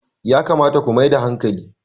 yakamata ku Mai da hankali!